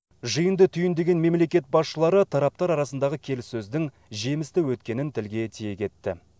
жиынды түйіндеген мемлекет басшылары тараптар арасындағы келсіссөздің жемісті өткенін тілге тиек етті